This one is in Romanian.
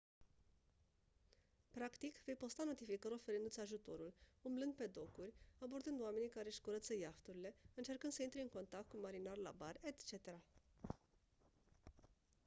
practic vei posta notificări oferindu-ți ajutorul umblând pe docuri abordând oamenii care își curăță iahturile încercând să intri în contact cu marinari la bar etc